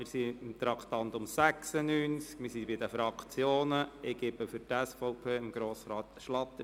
Wir beraten das Traktandum 96 und sind bei den Fraktionssprechern angelangt.